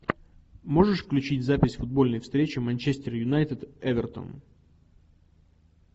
можешь включить запись футбольной встречи манчестер юнайтед эвертон